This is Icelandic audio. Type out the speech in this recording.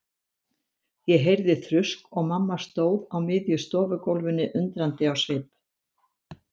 Ég heyrði þrusk og mamma stóð á miðju stofugólfinu undrandi á svip.